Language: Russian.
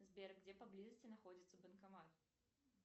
сбер где поблизости находится банкомат